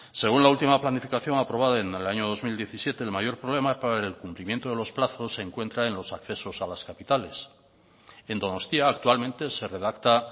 según la última planificación aprobada en el año dos mil diecisiete el mayor problema para el cumplimiento de los plazos se encuentra en los accesos a las capitales en donostia actualmente se redacta